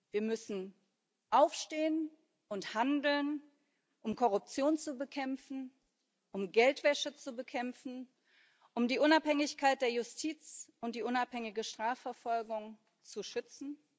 Wir müssen aufstehen und handeln, um Korruption zu bekämpfen, um Geldwäsche zu bekämpfen, um die Unabhängigkeit der Justiz und die unabhängige Strafverfolgung zu schützen.